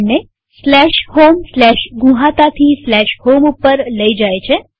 આપણને homegnuhata થી home ઉપર લઇ જાય છે